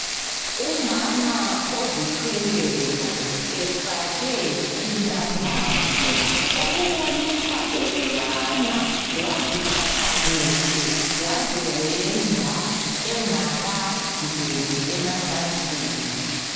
Umama ozithweleyo efake indandatho okubonisa ukubana waziphatha kuhle waze wenda engakangeni emacansini.